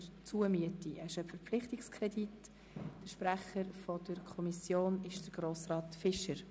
Der Sprecher der Kommission ist Grossrat Fischer.